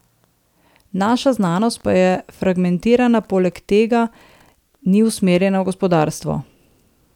Naša znanost pa je fragmentirana, poleg tega ni usmerjena v gospodarstvo.